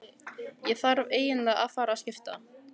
Ég þarf eiginlega að fara að skipta.